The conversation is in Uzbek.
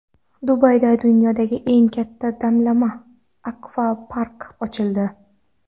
Dubayda dunyoda eng katta damlama akvapark ochildi.